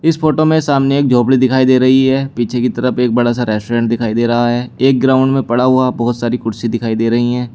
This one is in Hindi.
इस फोटो में सामने एक झोपड़ी दिखाई दे रही है पीछे की तरफ एक बड़ा सा रेस्टोरेंट दिखाई दे रहा है एक ग्राउंड में पड़ा हुआ बहुत सारी कुर्सी दिखाई दे रही हैं।